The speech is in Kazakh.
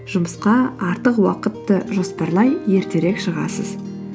жұмысқа артық уақытты жоспарлай ертерек шығасыз